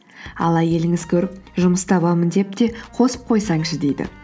ал әйеліңіз көріп жұмыс табамын деп те қосып қойсаңшы дейді